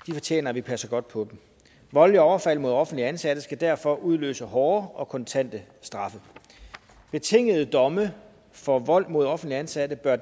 og de fortjener at vi passer godt på dem voldelige overfald mod offentligt ansatte skal derfor udløse hårde og kontante straffe betingede domme for vold mod offentligt ansatte bør